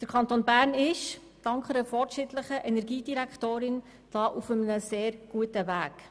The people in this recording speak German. Der Kanton Bern ist dank einer fortschrittlichen Energiedirektorin auf einem sehr guten Weg.